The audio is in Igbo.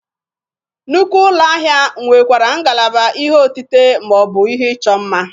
Nnukwu ụlọ ahịa nwekwara ngalaba ihe otite ma ọ bụ ihe ịchọ mma.